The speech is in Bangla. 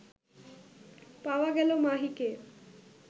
পাওয়া গেল মাহিকে